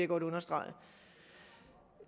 godt understrege